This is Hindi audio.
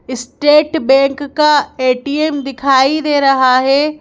स्टेट बैंक का ए_टी_एम दिखाई दे रहा है।